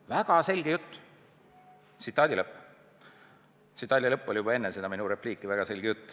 " Väga selge jutt!